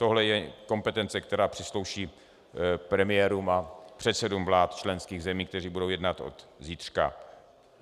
Tohle je kompetence, která přísluší premiérům a předsedům vlád členských zemí, kteří budou jednat od zítřka.